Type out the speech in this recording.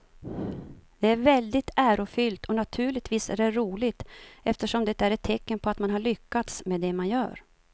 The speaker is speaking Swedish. Det är väldigt ärofyllt och naturligtvis är det roligt eftersom det är ett tecken på att man har lyckats med det man gör.